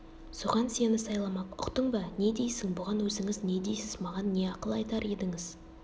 соған сені сайламақ ұқтың ба не дейсің бұған өзіңіз не дейсіз маған не ақыл айтар едіңіз